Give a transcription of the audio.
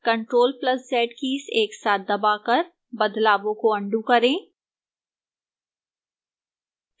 ctrl + z keys एक साथ दबाकर बदलावों को अन्डू करें